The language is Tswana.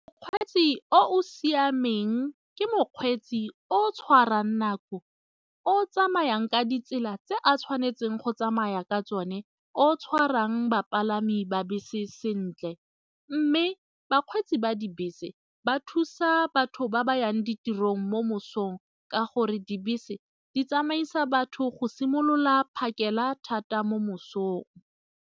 Mokgweetsi o o siameng ke mokgweetsi o o tshwarang nako, o o tsamayang ka ditsela tse a tshwanetseng go tsamaya ka tsone, o o tshwarang bapalami ba bese sentle mme bakgweetsi ba dibese ba thusa batho ba ba yang ditirong mo mosong ka gore dibese di tsamaisa batho go simolola phakela thata mo mosong.